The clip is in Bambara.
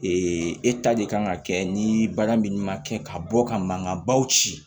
de kan ka kɛ ni baara min man kɛ ka bɔ ka mankanbaw ci